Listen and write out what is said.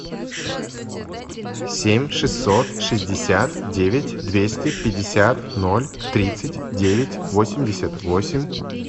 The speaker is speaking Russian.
семь шестьсот шестьдесят девять двести пятьдесят ноль тридцать девять восемьдесят восемь